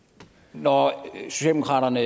når socialdemokraterne